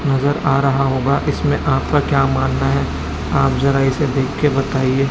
नजर आ रहा होगा इसमें आपका क्या मानना है आप जरा इसे देखके बताइए?